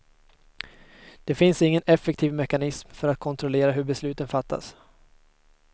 Det finns ingen effektiv mekanism för att kontrollera hur besluten fattas.